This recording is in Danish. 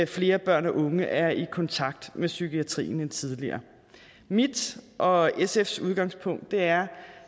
flere børn og unge er i kontakt med psykiatrien end tidligere mit og sfs udgangspunkt er